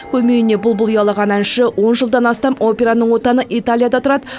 көмейіне бұлбұл ұялаған әнші он жылдан астам операның отаны италияда тұрады